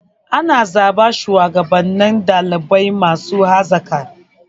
Ana zaɓan shuwagabannin ɗalibai masu hazaƙa.